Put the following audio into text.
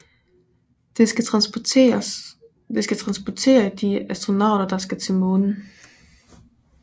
Det skal transportere de astronauter der skal til Månen